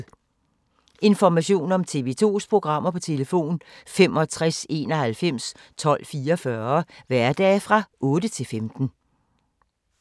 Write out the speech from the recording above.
Information om TV 2's programmer: 65 91 12 44, hverdage 9-15.